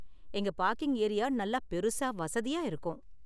எங்க parking area நல்லா பெருசா வசதியா இருக்கும்.